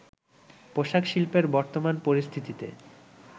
পোশাক শিল্পের বর্তমান পরিস্থিতিতে